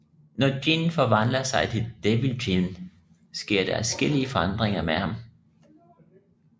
Når Jin forvandler sig til Devil Jin sker der adskillige forandringer med ham